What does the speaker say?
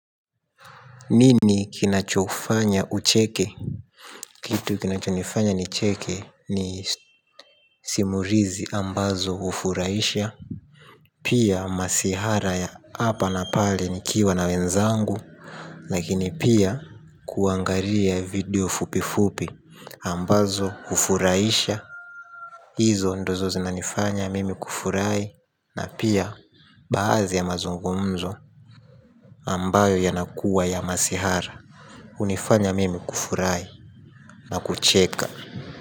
Nini kinachofanya ucheke. Kitu kinachofanya nicheke ni simurizi ambazo ufuraisha. Pia masihara ya apa na pale nikiwa na wenzangu. Lakini pia kuangaria video fupifupi ambazo ufuraisha. Izo ndozo zinanifanya mimi kufurai. Na pia baazi ya mazungumzo ambayo yanakuwa ya masihara. Unifanya mimi kufurai na kucheka.